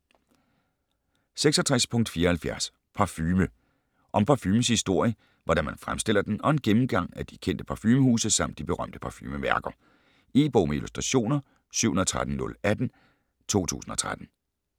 66.74 Parfume Om parfumens historie, hvordan man fremstiller den og en gennemgang af de kendte parfumehuse samt de berømte parfumemærker. E-bog med illustrationer 713018 2013.